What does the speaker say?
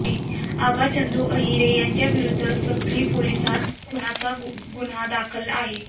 आबा चंदू अहिरे याच्याविरुद्ध साक्री पोलिसात खुनाचा गुन्हा दाखल आहे